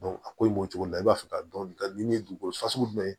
a ko in b'o cogo la i b'a fɛ ka dɔn nin ye dugukolo fasugu jumɛn ye